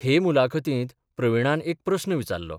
K मुलाखतींत प्रवीणान एक प्रस्न विचारलो.